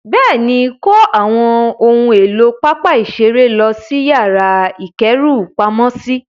Bẹ́ẹ̀ni, kó àwọn ohun èlò pápá ìṣeré lọ sí yàrá ìkẹ́rùpamọ́sí.